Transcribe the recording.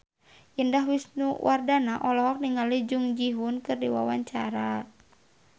Indah Wisnuwardana olohok ningali Jung Ji Hoon keur diwawancara